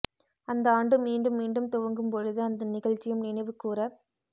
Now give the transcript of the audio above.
அந்த ஆண்டு மீண்டும் மீண்டும் துவங்கும் பொழுது அந்த நிகழ்ச்சியும் நினைவு கூரப்